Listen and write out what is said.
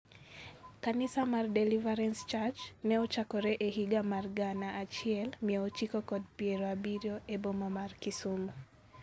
Kanisa mar Deliverance Church ne ochakore e higa mar gana achiel mia ochiko kod piero abiriyo e boma mar Kisumu.